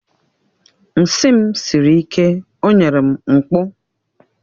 Nsị m siri ike o nyere m mkpụ